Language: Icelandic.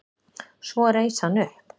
Svo reis hann upp.